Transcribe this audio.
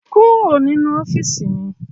Kúrò nínú ọ́fíìsì mi!